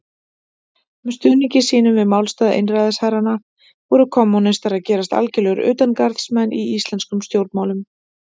Með stuðningi sínum við málstað einræðisherranna voru kommúnistar að gerast algjörir utangarðsmenn í íslenskum stjórnmálum.